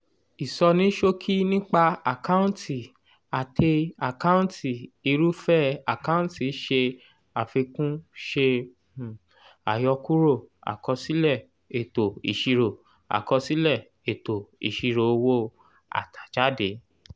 ìṣọnísókí nípa àkáǹtì àtẹ àkáǹtì irúfẹ́ àkáǹtì ṣe àfikún ṣe um àyọkúrò àkọsílẹ̀ ètò ìṣirò àkọsílẹ̀ ètò ìṣirò owó àtàjáde?